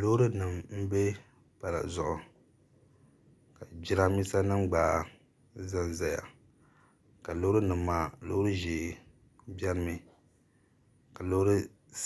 Loorinima m-be pala zuɣu ka jirambiisa nima gba za n-zaya ka loorinima maa loori ʒee beni mi ka loori